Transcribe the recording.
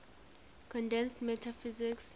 condensed matter physics